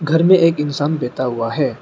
घर में एक इंसान बैठा हुआ है।